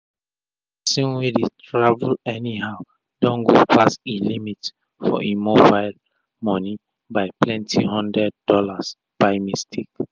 d persin wey dey travel anyhow don go pass e limit for e mobile moni by plenty hundred dollars by mistake.